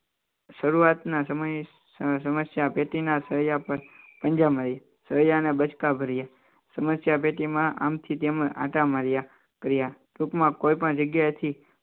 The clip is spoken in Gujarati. શરૂઆતના સમયે સમસ્યા પેઢીના સળિયા પર પંજાબ શ્રેયા અને બચકાભર્યા સમસ્યા પેટીમાં આમથી તેમજ આંટા માર્યા કર્યા ટૂંકમાં કોઈ પણ જગ્યાએથી